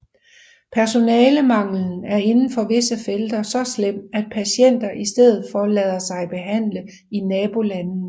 Personalemanglen er inden for visse felter så slem at patienter i stedet lader sig behandle i nabolande